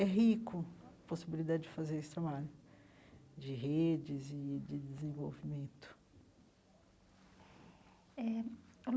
É rico a possibilidade de fazer esse trabalho de redes e de desenvolvimento eh.